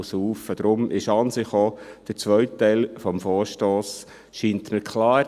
Deshalb erscheint mir an sich auch der zweite Teil des Vorstosses klar.